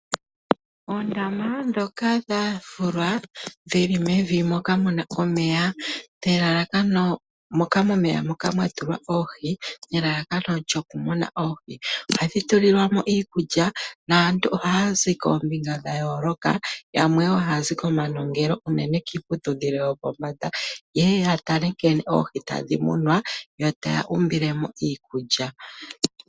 Oondama ndhoka dha fulwa, dhili mevi moka mu na omeya, mwa tulwa oohi nelalakano lyokudhi muna. Ohadhi tulilwa mo iikulya naantu ohaya zi koombinga dha yooloka, yamwe wo haya zi komanongelo hoka, unene kiiputudhilo yopombanda yeye ya tale nkene oohi tadhi munwa, yo taya umbile mo iikulya.